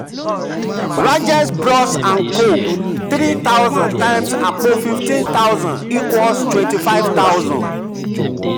rajesh bros & co: 3000 x àpò 15000 = 25000.